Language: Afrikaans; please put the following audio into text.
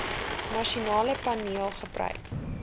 nasionale paneel gebruik